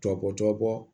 Tɔ bɔ tɔ bɔɔ